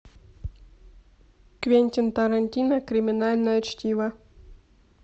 квентин тарантино криминальное чтиво